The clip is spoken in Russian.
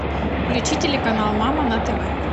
включи телеканал мама на тв